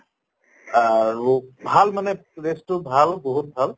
আৰু ভাল মানে place টো ভাল বহুত ভাল